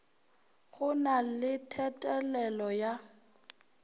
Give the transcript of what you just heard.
go na le thethelelo ya